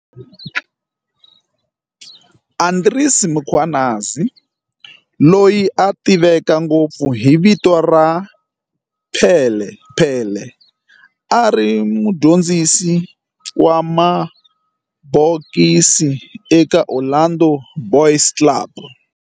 Andries Mkhwanazi, loyi a tiveka ngopfu hi vito ra"Pele Pele", a ri mudyondzisi wa mabokisi eka Orlando Boys Club